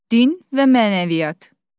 Din və mənəviyyat.